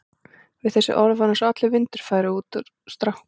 Við þessi orð var eins og allur vindur færi úr strákunum.